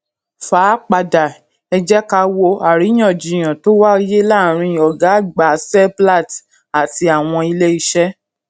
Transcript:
fà á padà ẹ jẹ ká wo àríyànjiyàn tó wáyé láàárín ọgá àgbà seplat àti àwọn ilé iṣẹ